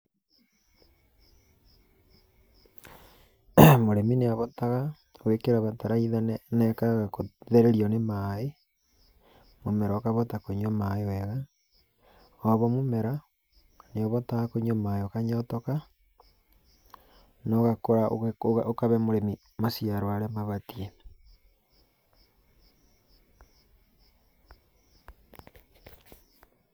Mũrĩmi nĩabotaga gwĩkĩra bataraitha na ĩkaga gũthererio nĩ maaĩ, mũmera ũkahota kũnyua maaĩ wega. Koguo mũmera nĩũbotaga kũnyua maaĩ ũkanyotoka na ũgakũra ũkahe mũrĩmi maciaro ũrĩa mabatiĩ.